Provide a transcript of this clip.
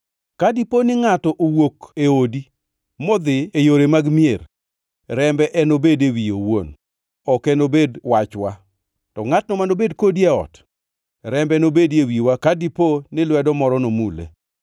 Ka dipo ni ngʼato owuok e odi modhi e yore mag mier, rembe enobed e wiye owuon; ok enobed wachwa. To ne ngʼatno manobed kodi ei ot, rembe nobedi e wiwa ka dipo ni lwedo moro nomule.